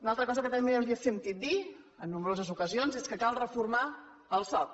una altra cosa que també els hem sentit dir en nombroses ocasions és que cal reformar el soc